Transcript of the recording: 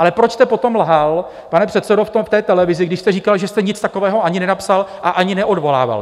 Ale proč jste potom lhal, pane předsedo, v televizi, když jste říkal, že jste nic takového ani nenapsal a ani neodvolával?